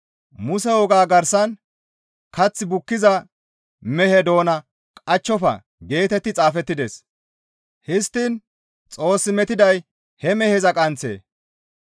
Muse wogaa garsan, «Kath bukkiza mehe doona qachchofa» geetetti xaafettides; histtiin Xoos metiday he meheza qanththee?